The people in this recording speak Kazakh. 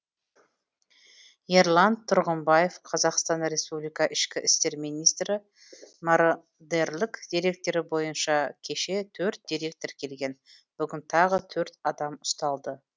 ерлан тұрғымбаев қазақстан республикасы ішкі істер министрі мородерлік деректері бойынша кеше төрт дерек тіркелген бүгін тағы төрт адам ұсталды